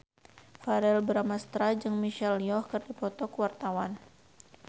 Verrell Bramastra jeung Michelle Yeoh keur dipoto ku wartawan